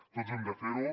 tots hem de fer ho